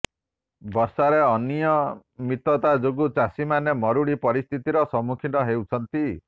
ବର୍ଷାରେ ଅନିୟମିତତା ଯୋଗୁ ଚାଷୀମାନେ ମରୁଡି ପରିସ୍ଥିତିର ସମ୍ମୁଖୀନ ହେଉଛନ୍ତି